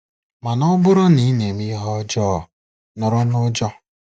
Mana ọ bụrụ na ị na-eme ihe ọjọọ, nọrọ n'ụjọ.